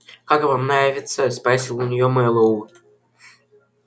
как вам нравится спросил у неё мэллоу